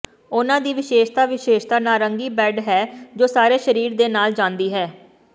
ਉਨ੍ਹਾਂ ਦੀ ਵਿਸ਼ੇਸ਼ਤਾ ਵਿਸ਼ੇਸ਼ਤਾ ਨਾਰੰਗੀ ਬੈਂਡ ਹੈ ਜੋ ਸਾਰੇ ਸਰੀਰ ਦੇ ਨਾਲ ਜਾਂਦੀ ਹੈ